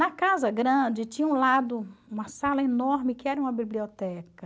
Na casa grande tinha um lado uma sala enorme que era uma biblioteca.